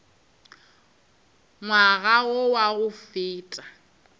ngwaga wo wa go feta